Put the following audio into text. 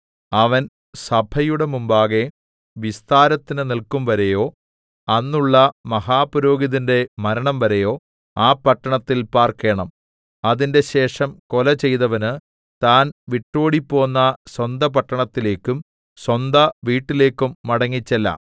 അവൻ സഭയുടെ മുമ്പാകെ വിസ്താരത്തിന് നില്‍ക്കുംവരെയോ അന്നുള്ള മഹാപുരോഹിതന്റെ മരണംവരെയോ ആ പട്ടണത്തിൽ പാർക്കേണം അതിന്‍റെശേഷം കൊല ചെയ്തവന് താൻ വിട്ടോടിപ്പോന്ന സ്വന്ത പട്ടണത്തിലേക്കും സ്വന്ത വീട്ടിലേക്കും മടങ്ങിച്ചെല്ലാം